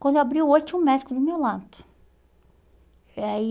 Quando abri o olho, tinha um médico do meu lado. Eh aí